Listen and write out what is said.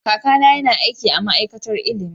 Kakana yana aiki a ma'aikatar ilimi.